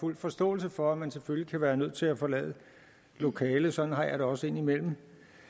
fuld forståelse for at man selvfølgelig kan være nødt til at forlade lokalet sådan har jeg det også indimellem